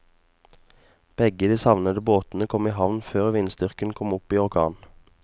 Begge de savnede båtene kom i havn før vindstyrken kom opp i orkan.